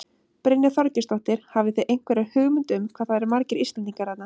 Brynja Þorgeirsdóttir: Hafið þið einhverja hugmynd um hvað það eru margir Íslendingar þarna?